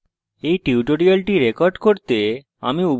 এই tutorial record করতে আমি